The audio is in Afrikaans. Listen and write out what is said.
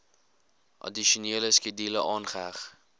addisionele skedule aangeheg